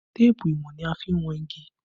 Téèpù ìwọ̀n ni a fi n wọn igi